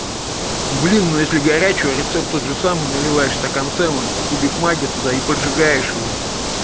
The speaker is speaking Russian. блин ну если горячего рецепт тот же самый наливаешь в стакан сэма кубик магги туда и поджигаешь его